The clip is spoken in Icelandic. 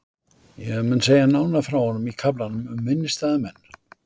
Ég mun segja nánar frá honum í kaflanum um minnisstæða menn.